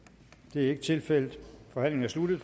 er ikke tilfældet forhandlingen er sluttet